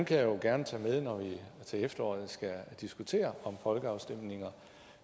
jeg jo gerne tage med når vi til efteråret skal diskutere om folkeafstemninger